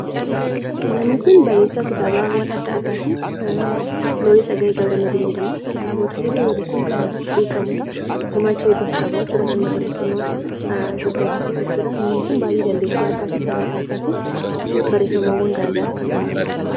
Namni kun barreessaa kitaabaawwan adda addaati. Looreet Tsaggaayee G/madiin jedhama. Kitaabota hedduu barreessuun kan beekamudha. Gumaacha hedduus qaba jechuudha sirna barreeffama Itoophiyaa keessatti namni kun baay'ee dandeettii addaa fi kalaqa addaatiin barreeffamawwan garaagaraa kan barreessudha.